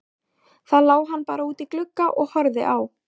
Þá lá hann bara útí glugga og horfði á.